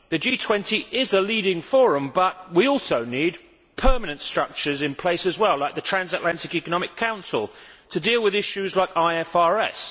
The G20 is a leading forum, but we also need permanent structures in place as well like the Transatlantic Economic Council to deal with issues like IFRS.